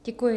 Děkuji.